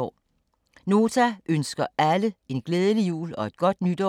Nota ønsker alle en glædelig jul og et godt nytår.